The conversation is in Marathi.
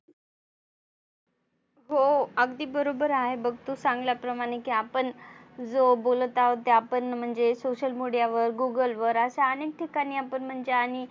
हो अगदी बरोबर आहे. बघतो चांगल्या प्रमाणे की आपण जो बोलत आहोत ते आपण म्हणजे social media वर Google वर असा आनेक ठिकाणी आपण म्हणजे आणि